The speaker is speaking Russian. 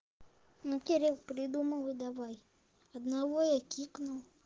ну кирилл придумал и давай одного я кикнул